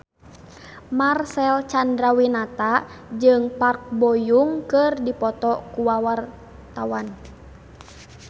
Marcel Chandrawinata jeung Park Bo Yung keur dipoto ku wartawan